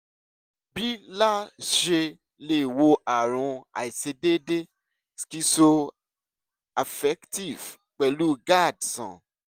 bí la ṣe lè wo ààrùn àìṣedéédé schizoaffective pèlú gad sàn?